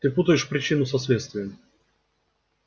ты путаешь причину со следствием